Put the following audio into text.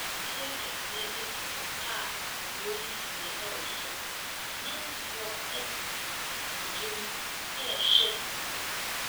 Afidie kɛseɛ si hɔ a wɔreyi sini wɔ so. Amanfoɔ tete akonnwa mu rehwɛ